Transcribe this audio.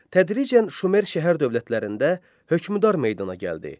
Tədricən Şumer şəhər dövlətlərində hökmdar meydana gəldi.